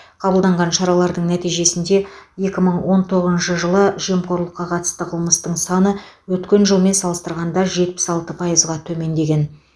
қабылданған шаралардың нәтижесінде екі мың он тоғызыншы жылы жемқорлыққа қатысты қылмыстың саны өткен жылмен салыстырғанда жетпіс алты пайызға төмендеген